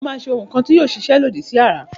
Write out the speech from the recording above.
Mo má se oun kan ti yio ma sisẹ